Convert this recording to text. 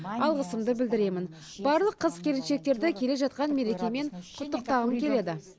алғысымды білдіремін барлық қыз келіншектерді келе жатқан мерекемен құттықтағым келеді